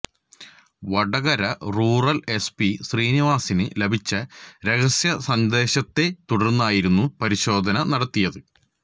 Vadakara rural SP ശ്രീനിവാസിന് ലഭിച്ച രഹസ്യ സന്ദേശത്തെ തുടര്ന്നായിരുന്നു പരിശോധന നടത്തിയത്